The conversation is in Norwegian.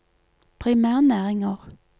primærnæringer